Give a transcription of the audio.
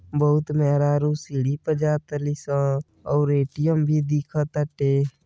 बहोत मेहरारू सीढ़ी पे जाताली सन और ए.टी.एम भी दिखताटे।